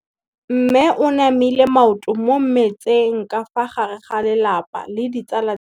Mme o namile maoto mo mmetseng ka fa gare ga lelapa le ditsala tsa gagwe.